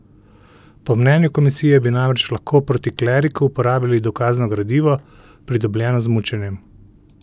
Po mnenju komisije bi namreč lahko proti kleriku uporabili dokazno gradivo, pridobljeno z mučenjem.